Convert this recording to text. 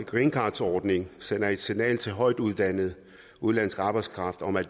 greencardordningen sender et signal til højtuddannet udenlandsk arbejdskraft om at